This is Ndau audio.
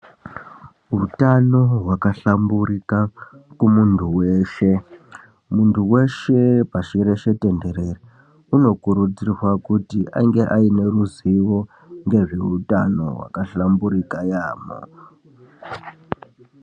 Utano hwakahlamburika kumuntu weshe muntu weshe pasi reshe tenderere unokurudzirwa kuti ainge ane ruzivo ngezvehutano wakahlamburika yambo.